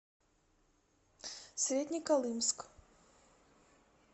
среднеколымск